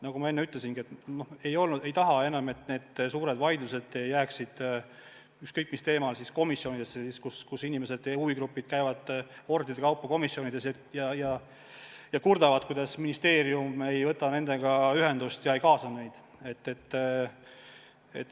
Nagu ma enne ütlesin: ei taha enam, et suured vaidlused ükskõik mis teemal jääksid komisjonidesse, nii et inimesed ja huvigrupid käivad hordide kaupa komisjonides ja kurdavad, et ministeerium ei võta nendega ühendust ja ei kaasa neid.